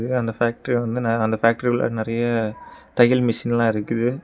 இது அந்த ஃபேக்டரி அந்த ஃபேக்டரி உள்ள நெறைய தையல் மெஷின்லா இருக்குது.